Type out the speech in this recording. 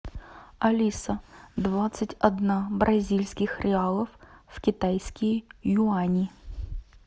алиса двадцать одна бразильских реалов в китайские юани